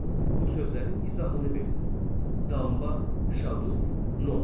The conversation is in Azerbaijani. Bu sözlərin izahını verin: Damba, Şaduf, Nom.